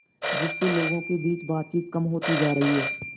जिससे लोगों के बीच बातचीत कम होती जा रही है